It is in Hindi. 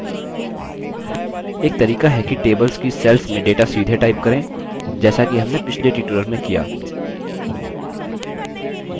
एक तरीका है कि tables की cells में data सीधे type करें जैसा कि हमने पिछले tutorial में किया